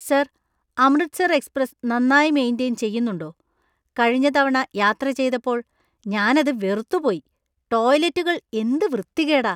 Sir, Amritsar‍ express നന്നായി maintain ചെയ്യുന്നുണ്ടോ? കഴിഞ്ഞ തവണ യാത്ര ചെയ്തപ്പോൾ ഞാൻ അത് വെറുത്തുപോയി . ടോയ്‌ലറ്റുകൾ എന്ത് വൃത്തികേടാ .